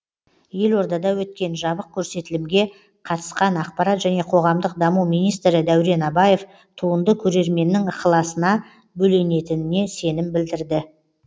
елордада өткен жабық көрсетілімге қатысқан ақпарат және қоғамдық даму министрі дәурен абаев туынды көрерменнің ықыласына бөленетініне сенім білдірді